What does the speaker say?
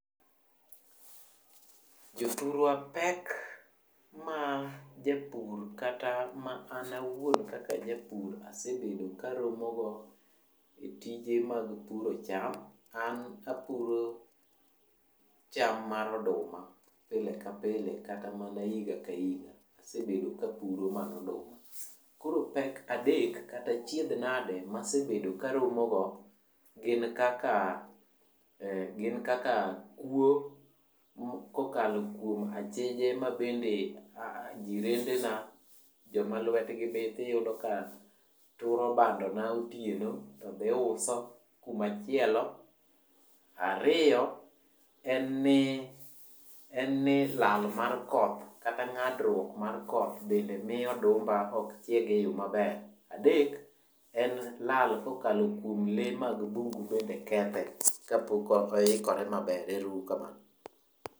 Jothurwa pek ma japur kata ma an awuon kaka ajapur asebedo karomo go e tije mag puro cham, an apuro cham mar oduma pilepile kata mana higa ka higa, asebedo ka apuro mana oduma. Koro pek adek kata achiedh nade masebedo karomo go gin kaka kuwo, kokalo kuom achije ma bende, jirendena, joma lwetgi bith iyudo ka turo bando na otieno to dhi uso kumachielo. Ariyo en ni lal mar koth kata ng'adruok mar koth bende miyo odumba ok chieg e yo maber. Adek en lal kokalo kuom le mag bungugo be kethe kapok oikore maber. Ero uru kamano.